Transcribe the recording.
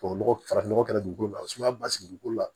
Tubabu nɔgɔ farafin nɔgɔ kɛra dugukolo la o sumaya ba sigi ko la